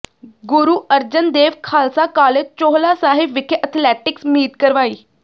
ਗੁਰੂ Arjan Dev Khalsa college Chohla Sahib ਵਿਖੇ athletics meet ਕਰਵਾਈ